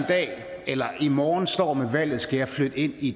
dag eller i morgen står med valget skal flytte ind i